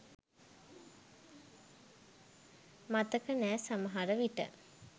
මතක නෑ සමහර විට